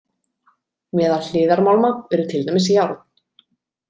Meðal hliðarmálma eru til dæmis járn.